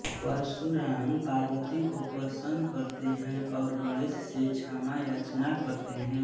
परशुराम पार्वती को प्रसन्न करते हैं और गणेश से क्षमायाचना करते हैं